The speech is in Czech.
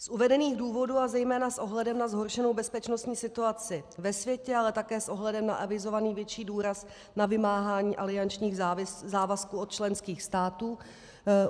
Z uvedených důvodů a zejména s ohledem na zhoršenou bezpečnostní situaci ve světě, ale také s ohledem na avizovaný větší důraz na vymáhání aliančních závazků od členských států...